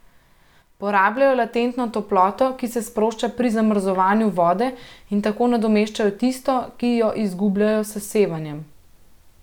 Porabljajo latentno toploto, ki se sprošča pri zmrzovanju vode, in tako nadomeščajo tisto, ki jo izgubljajo s sevanjem.